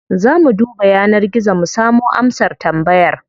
Za mu duba yanar gizo mu samo amsar tambayar.